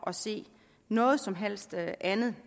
at se noget som helst andet